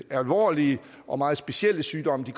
alvorlige og meget specielle sygdomme